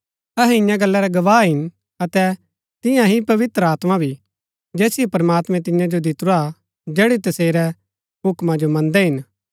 अहै इन्या गल्ला रै गवाह हिन अतै तियां ही पवित्र आत्मा भी जैसिओ प्रमात्मैं तियां जो दितुरा जैड़ी तसेरै हूक्मा जो मन्दै हिन